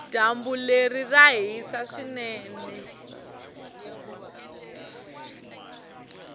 dyambu leri ra hisa swinene